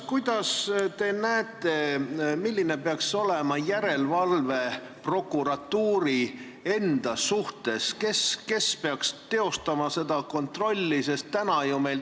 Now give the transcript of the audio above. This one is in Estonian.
Kuidas te näete, milline peaks olema järelevalve prokuratuuri enda üle, kes peaks seda kontrolli tegema?